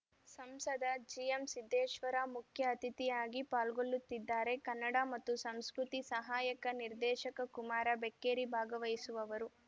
ಸಂಸದ ಜಿಎಂಸಿದ್ದೇಶ್ವರ ಮುಖ್ಯ ಅತಿಥಿಯಾಗಿ ಪಾಲ್ಗೊಳ್ಳುತ್ತಿದ್ದಾರೆ ಕನ್ನಡ ಮತ್ತು ಸಂಸ್ಕೃತಿ ಸಹಾಯಕ ನಿರ್ದೇಶಕ ಕುಮಾರ ಬೆಕ್ಕೇರಿ ಭಾಗವಹಿಸುವವರು